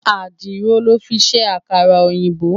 Àdìrò lò fin sé àkárà-óyinbó